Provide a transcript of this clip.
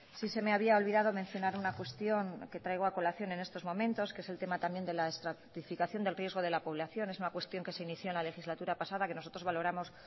sí se me había olvidado mencionar una cuestión que traigo a colación en estos momentos que es el tema también de la estratificación del riesgo de la población es una cuestión que se inició en la legislatura pasada que nosotros valoramos